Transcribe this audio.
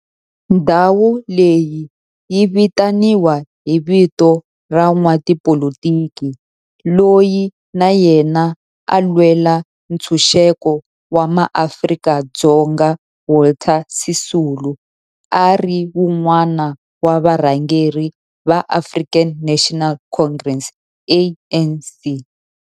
Ndhawo leyi yi vitaniwa hi vito ra n'watipolitiki loyi na yena a lwela ntshuxeko wa maAfrika-Dzonga Walter Sisulu, a ri wun'wana wa varhangeri va African National Congress, ANC.